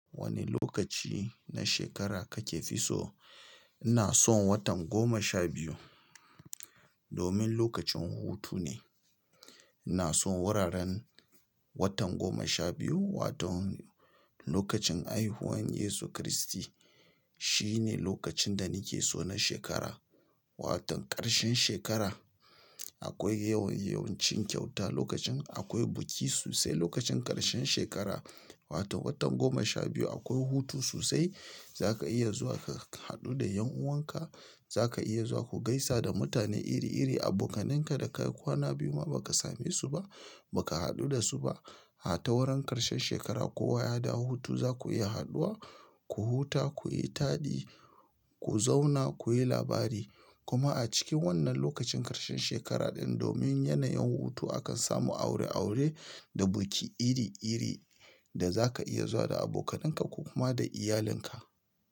Wani lokaci na shekara kake fi so? Ina son watan goma sha biyu domin lokacin hutu ne. Ina son wuraren watan goma sha biyu, waton lokacin haihuwan Yesu Kiristi. Shi ne lokacin da nike so na shekara. Waton ƙarshen shekara. Akwai yawan yawancin kyauta lokacin, akwai biki sosai lokacin ƙarshen shekara, wato watan goma sha biyu. Akwai hutu sosai. Zaka iya zuwa ka haɗu da ƴan'uwanka. Zaka iya zuwa ku gaisa da mutane iri-iri, abokananka da ka yi kwana biyu ma ba ka same su ba, ba ka haɗu da su ba. A ta wurin ƙarshen shekara kowa ya dawo hutu, za ku iya haɗuwa, ku huta, ku yi taɗi, ku zauna, ku yi labari. Kuma a cikin wannan lokacin ƙarshen shekara ɗin, domin yanayin hutu akan samu aure-aure da biki iri-iri da za ka iya zuwa da abokananka ko kuma da iyalinka.